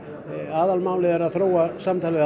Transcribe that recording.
aðalmálið er að þróa samtalið